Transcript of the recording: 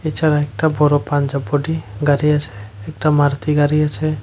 এছাড়া একটা বড় পাঞ্জাব বডি গাড়ি আছে একটা মারুতি গাড়ি আছে।